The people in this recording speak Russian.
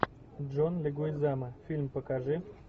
джон легуизамо фильм покажи